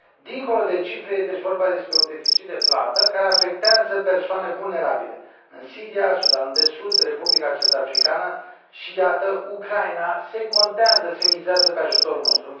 Dincolo de cifre, este vorba, deci, despre un deficit de plată care afectează persoane vulnerabile din Siria, Sudanul de Sud, Republica Centrafricană și, iată, Ucraina, care contează, mizează pe ajutorul nostru.